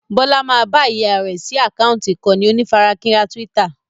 Bọlá máa bá ìyá rẹ sí àkántì ìkànnì onífarakínra Twitter